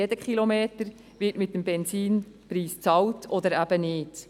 Jeder Kilometer wird mit dem Benzinpreis bezahlt oder eben nicht.